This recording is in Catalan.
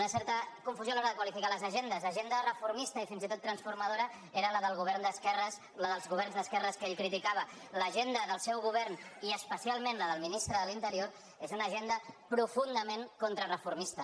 una certa confusió a l’hora de qualificar les agendes l’agenda transformista i fins i tot transformadora era la dels governs d’esquerres que ell criticava l’agenda del seu govern i especialment la del ministre de l’in·terior és una agenda profundament contrareformista